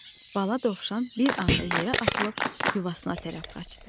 Bala dovşan bir anda yerə atılıb yuvasına tərəf qaçdı.